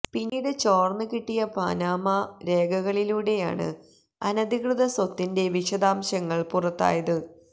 പിന്നീട് ചോർന്നു കിട്ടിയ പാനമ രേഖകളിലൂടെയാണ് അനധികൃതസ്വത്തിന്റെ വിശദാംശങ്ങൾ പുറത്തായത്